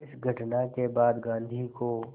इस घटना के बाद गांधी को